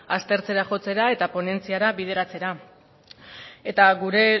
aztertzera jotzera eta ponentziara bideratzera eta gure